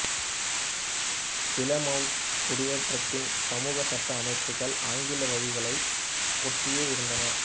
Plymouth குடியேற்றத்தின் சமூக சட்ட அமைப்புகள் ஆங்கில வழமைகளை ஒட்டியே இருந்தன